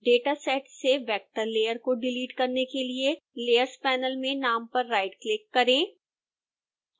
dataset से vector layer को delete करने के लिए layers panel में नाम पर राइटक्लिक करें